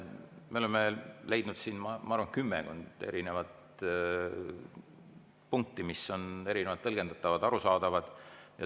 Me oleme leidnud siin, ma arvan, kümmekond punkti, mis on erinevalt tõlgendatavad ja arusaadavad.